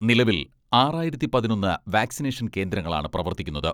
നിലവിൽ ആറായിരത്തി പതിനൊന്ന് വാക്സിനേഷൻ കേന്ദ്രങ്ങളാണ് പ്രവർത്തിക്കുന്നത്.